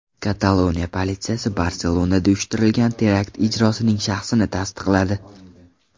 Kataloniya politsiyasi Barselonada uyushtirilgan terakt ijrochisining shaxsini tasdiqladi.